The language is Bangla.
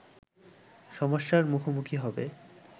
সমস্যার মুখোমুখি হবে